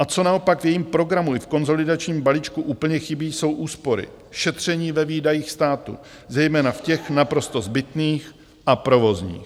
A co naopak v jejím programu i v konsolidačním balíčku úplně chybí, jsou úspory, šetření ve výdajích státu, zejména v těch naprosto zbytných a provozních.